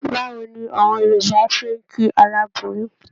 Báwo ni àwọn Yorùbá ṣe ń kí aláboyún?